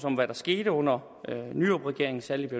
om hvad der skete under nyrupregeringen særlig i